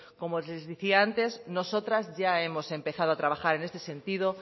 como les decía antes nosotras ya hemos empezado a trabajar en este sentido